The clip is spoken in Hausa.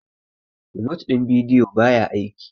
remote din video ba ya aiki